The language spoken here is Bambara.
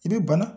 I bɛ bana